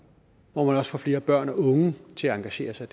hvor man også får flere børn og unge til at engagere sig